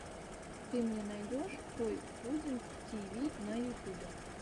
ты мне найдешь той пудинг ти ви на ютюбе